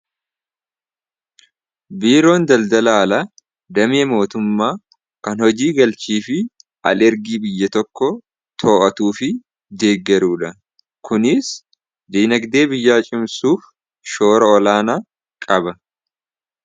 Biiroon daldala alaa damee mootummaa kan hojii galchii fi al ergii biyya tokko too'atuu fi deeggaruudha. kuniis diinagdee biyyaa cimsuuf shoora olaana qaba.